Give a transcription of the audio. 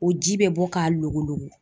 O ji bɛ bɔ k'a lokoloko.